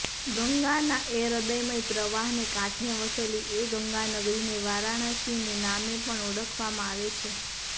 ગંગાના એ હૃદયમય પ્રવાહને કાંઠે વસેલી એ ગંગાનગરીને વારાણસીને નામે પણ ઓળખવામાં આવે છે